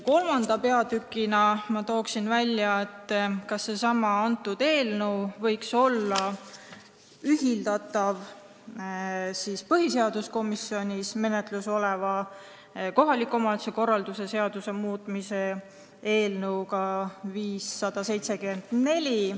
Kolmandaks toon välja, et see eelnõu võiks olla ühildatav põhiseaduskomisjoni menetluses oleva kohaliku omavalitsuse korralduse seaduse muutmise seaduse eelnõuga 574.